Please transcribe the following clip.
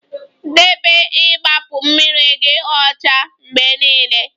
Debe igbapu mmiri gi ocha mgbe niile